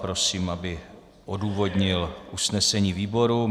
Prosím, aby odůvodnil usnesení výboru.